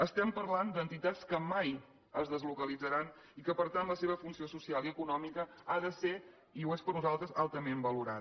estem parlant d’entitats que mai es deslocalitzaran i que per tant la seva funció social i econòmica ha de ser i ho és per nosaltres altament valorada